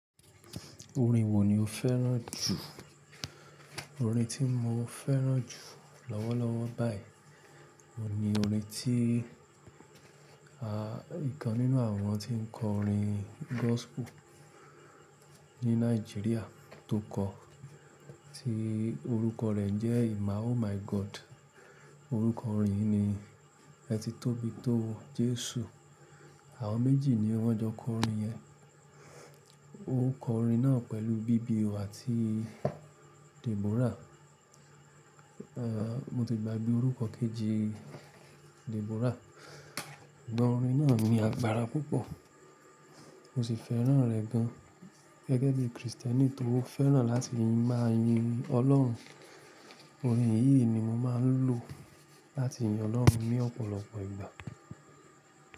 Orin wo ni o fẹ́ràn jù? Orin tí mo fẹ́ràn jù lọ́wọ́lọ́wọ́ báyìí ni orin tí, à, ìkan nínú àwọn tí ń kọ orin gospel ní Nàìjíríà tó kọ, tí orúkọ rẹ̀ jẹ́ "Ima oh my God." Orúkọ orin ni, Ẹ ti tóbi tó, Jesu. Àwọn méjì ni wọ́n jọ kọ orin yẹn. Ó kọ orin náà pẹ̀lú Bibi O àti Deborah. Mo ti gbàgbé orúkọ kejì Deborah. Ṣùgbọ́n orin náà ní agbára púpọ̀, mo sì fẹ́ràn rẹ̀ gan. Gẹ́gẹ́ bí Kristẹni, tó fẹ́ràn láti máa yin Ọlọ́run. Orin yìí ni mo máa ń lò láti yin Ọlọ́run ní ọ̀pọ̀lọpọ̀ ìgbà.